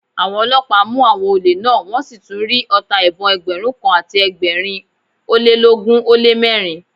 Àwọn ọlọ́pàá mú àwọn olè náà, wọn sì tún rí ọta ìbọn Ẹgbẹ̀rún kan àti ẹgbẹ̀rin ólélógún ó lé mẹ́rin.